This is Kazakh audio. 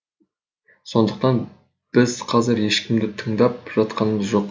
сондықтан біз қазір ешкімді тыңдап жатқанымыз жоқ